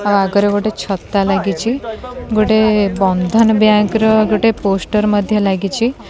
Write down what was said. ଆଗରେ ଛତା ଲାଗିଛି ଗୋଟେ ବନ୍ଦନ ବ୍ୟାଙ୍କ୍ ର ଗୋଟେ ପୋଷ୍ଟର ମଧ୍ୟ ଲାଗିଛି।